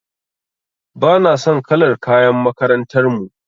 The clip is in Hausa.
Bana son kalar kayan makarantar mu.